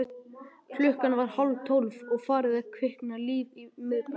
Klukkan var hálftólf og farið að kvikna líf í miðbænum.